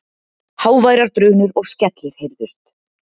Háværar drunur og skellir heyrðust.